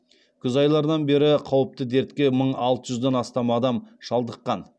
күз айларынан бері қауіпті дертке мың алты жүзден астам адам шалдыққан